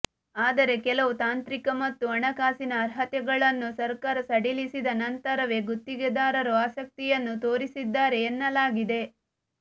ಆದರೆ ಕೆಲವು ತಾಂತ್ರಿಕ ಮತ್ತು ಹಣಕಾಸಿನ ಅರ್ಹತೆಗಳನ್ನು ಸರ್ಕಾರ ಸಡಿಲಿಸಿದ ನಂತರವೇ ಗುತ್ತಿಗೆದಾರರು ಆಸಕ್ತಿಯನ್ನು ತೋರಿಸಿದ್ದಾರೆ ಎನ್ನಲಾಗಿದೆ